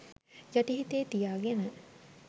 යටි හිතේ තියාගෙන.